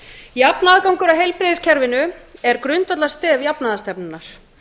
jafn aðgangur að heilbrigðiskerfinu er grundvallarstef jafnaðarstefnunnar